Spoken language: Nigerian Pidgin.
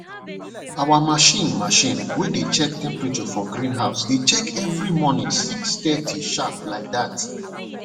our machine machine way dey check temperature for greenhouse dey check every morning six thirty sharp like that